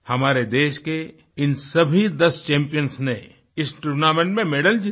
हमारे देश के इन सभी दस चैम्पियंस ने इस टूर्नामेंट में मैडल जीते